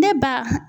Ne ba